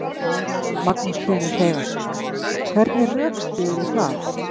Magnús Hlynur Hreiðarsson: Hvernig rökstyðurðu það?